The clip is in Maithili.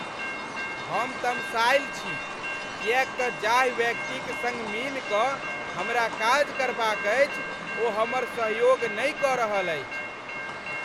हम तमसायल छी किएक त जाहि व्यक्तिक सङ्ग मिलि कऽ हमरा काज करबाक अछि ओ हमर सहयोग नहि कऽ रहल अछि ।